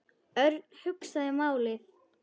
Örn hugsaði málið.